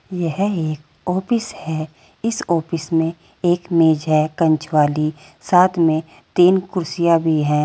यह एक ऑफिस है इस ऑफिस में एक मेज है कांच वाली साथ में तीन कुर्सिया भी हैं।